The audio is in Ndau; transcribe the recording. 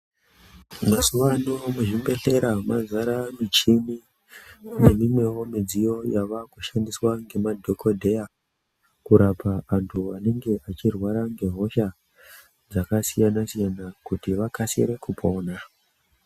Mazuva ano muzvibhedhlera mazare muchini neimweniwo midziyo yavakushandiswa ngemadhokodheya kurape vantu vanenge vechirwara ngehosha dzakasiyana siyana kuti vakasire kupora.